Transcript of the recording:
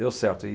Deu certo e